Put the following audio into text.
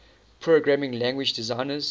programming language designers